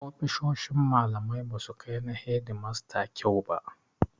Ofisoshin malamai ba su kai na hedimasta kyau ba.